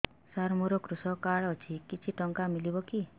ସାର ମୋର୍ କୃଷକ କାର୍ଡ ଅଛି କିଛି ଟଙ୍କା ମିଳିବ କି